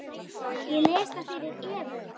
Ég les það fyrir Evu.